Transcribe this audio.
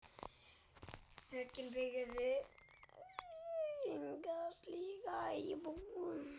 Borgin byggði enga slíka íbúð.